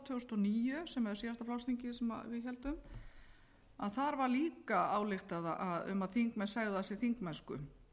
tvö þúsund og níu sem er síðasta flokksþingið sem við héldum þar var líka ályktað um að þingmenn segðu af sér þingmennsku